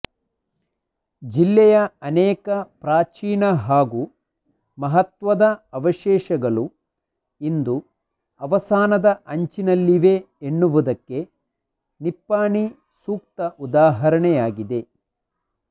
ಜಿಲ್ಲೆಯ ಅನೇಕ ಪ್ರಾಚೀನ ಹಾಗೂ ಮಹತ್ವದ ಅವಶೇಷಗಳು ಇಂದು ಅವಸಾನದ ಅಂಚಿನಲ್ಲಿವೆ ಎನ್ನುವುದಕ್ಕೆ ನಿಪ್ಪಾಣಿ ಸೂಕ್ತ ಉದಾಹರಣೆಯಾಗಿದೆ